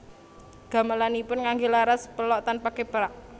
Gamelanipun nganggé laras pelog tanpa keprak